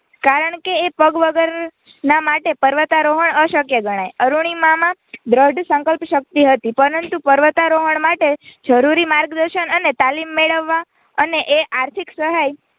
કારણ કે એ પગ વગરના માટે પર્વતારોહણ અશક્ય ગણાય અરૂણિમામાં દૃઢ સંકલ્પશક્તિ હતી પરંતુ પર્વતારોહણ માટે જરૂરી માર્ગદર્શન અને તાલીમ મેળવવા અને એ આર્થિક સહાય